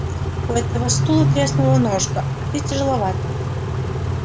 у этого стула треснула ножка а ты тяжеловат